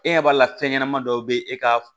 E ɲɛ b'a la fɛn ɲɛnama dɔw bɛ e ka